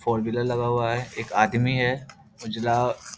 four wheeler लगा हुआ है एक आदमी है उजला --